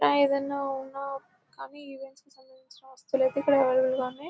ఇలా ఏదైనా ఉన్నా కానీ ఈవెంట్ కి సంబంధించిన వస్తువులు అవైలబుల్ గా ఉన్నాయి.